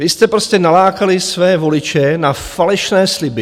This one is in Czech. Vy jste prostě nalákali své voliče na falešné sliby.